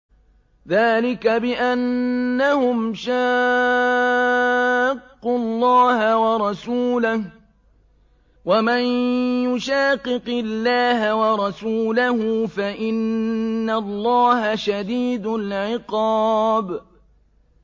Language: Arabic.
ذَٰلِكَ بِأَنَّهُمْ شَاقُّوا اللَّهَ وَرَسُولَهُ ۚ وَمَن يُشَاقِقِ اللَّهَ وَرَسُولَهُ فَإِنَّ اللَّهَ شَدِيدُ الْعِقَابِ